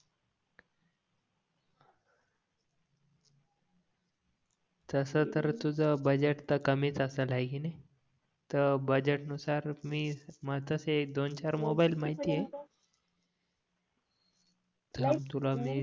तास तर तुझं बजेट तर कमीच असेल आहे कि नाही तर बजेट नुसार मग तसे दोन चार मोबाइल माहिती आहे थांब तुला मी